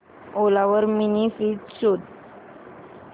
ओला वर mini fridge शोध